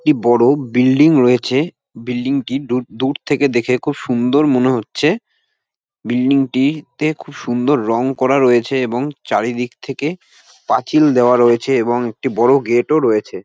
একটি বড় বিল্ডিং রয়েছে বিল্ডিং টি দূ দূর থেকে দেখে খুব সুন্দর মনে হচ্ছে। বিল্ডিংটিতে খুব সুন্দর রং করা রয়েছে এবং চারিদিক থেকে পাচিল দেওয়া রয়েছে এবং একটি বড় গেট ও রয়েছে।